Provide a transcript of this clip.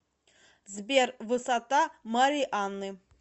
сбер высота марианы